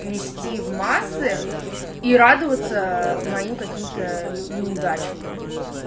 нести в массы и радоваться моим каким-то неудачам допустим